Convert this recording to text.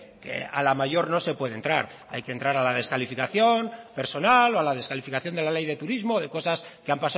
que a la mayor no se puede entrar hay que entrar a la descalificación personal o a la descalificación de la ley de turismo de cosas que han